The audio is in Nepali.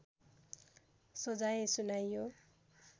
सजाय सुनाइयो